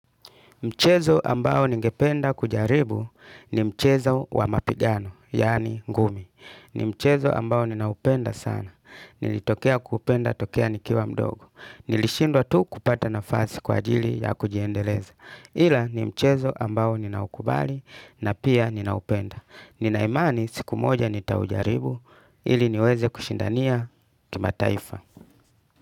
Mchezo ambao ningependa kujaribu ni mchezo wa mapigano, yaani ngumi. Ni mchezo ambao ninaupenda sana. Nilitokea kupenda tokea nikiwa mdogo. Nilishindwa tu kupata nafasi kwa ajili ya kujiendeleza. Ila ni mchezo ambao ninaukubali na pia ninaupenda. Ninaimani siku moja nitaujaribu ili niweze kushindania kimataifa.